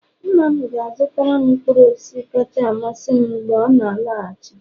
nna m ga-azutaram mkpụrụ osisi kacha amasị m mgbe ọ na-alọghachi